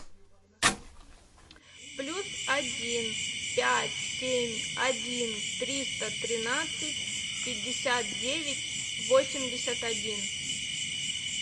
плюс один пять семь один триста тринадцать пятьдесят девять восемьдесят один